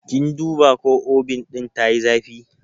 Kin duba ko Obin ɗin tayi zafi?